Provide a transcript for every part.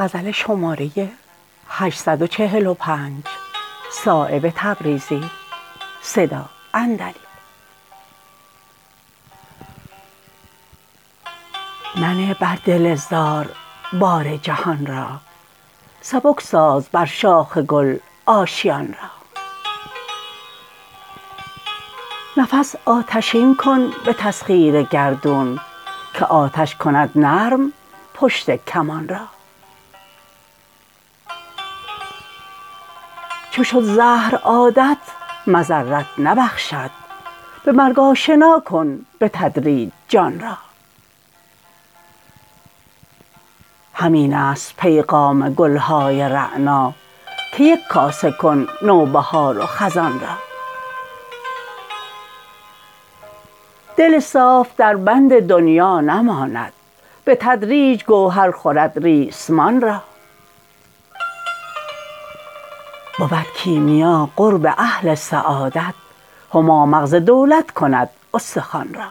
منه بر دل زار بار جهان را سبک ساز بر شاخ گل آشیان را نفس آتشین کن به تسخیر گردون که آتش کند نرم پشت کمان را چو شد زهر عادت مضرت نبخشد به مرگ آشنا کن به تدریج جان را همین است پیغام گلهای رعنا که یک کاسه کن نوبهار و خزان را دل صاف در بند دنیا نماند به تدریج گوهر خورد ریسمان را بود کیمیا قرب اهل سعادت هما مغز دولت کند استخوان را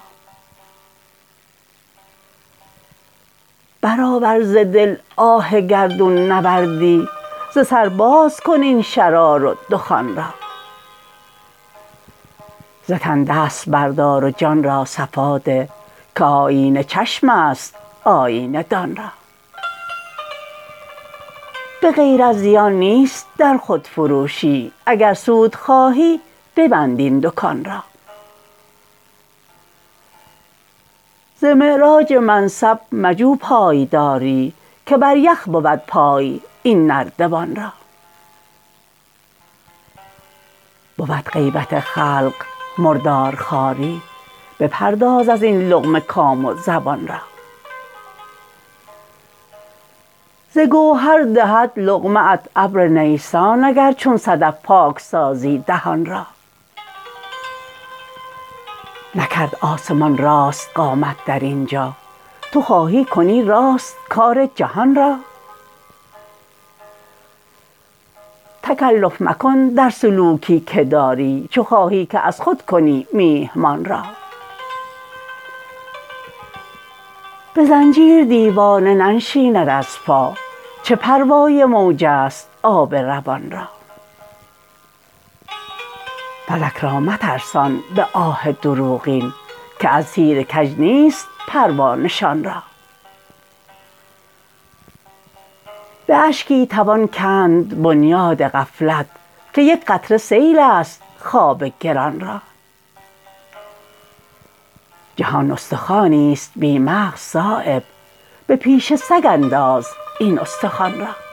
برآور ز دل آه گردون نوردی ز سر باز کن این شرار و دخان را ز تن دست بردار و جان را صفا ده که آیینه چشم است آیینه دان را به غیر از زیان نیست در خودفروشی اگر سود خواهی ببند این دکان را ز معراج منصب مجو پایداری که بر یخ بود پای این نردبان را بود غیبت خلق مردارخواری بپرداز ازین لقمه کام و زبان را ز گوهر دهد لقمه ات ابر نیسان اگر چون صدف پاک سازی دهان را نکرد آسمان راست قامت در اینجا تو خواهی کنی راست کار جهان را تکلف مکن در سلوکی که داری چو خواهی که از خود کنی میهمان را به زنجیر دیوانه ننشیند از پا چه پروای موج است آب روان را فلک را مترسان به آه دروغین که از تیر کج نیست پروا نشان را به اشکی توان کند بنیاد غفلت که یک قطره سیل است خواب گران را جهان استخوانی است بی مغز صایب به پیش سگ انداز این استخوان را